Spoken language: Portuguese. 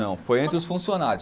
Não, foi entre os funcionários.